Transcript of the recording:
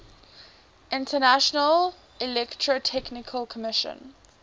international electrotechnical commission